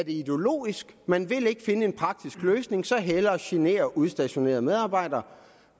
ideologisk man vil ikke finde en praktisk løsning så hellere genere udstationerede medarbejdere